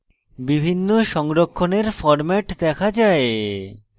বিভিন্ন সংরক্ষণের formats দেখা যায়